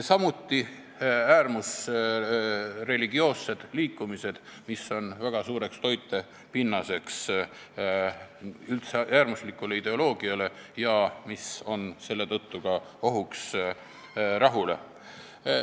Samuti on olulised äärmusreligioossed liikumised, mis on üldse väga suur toitepinnas äärmuslikule ideoloogiale ja mis on selle tõttu ka ohuks rahule.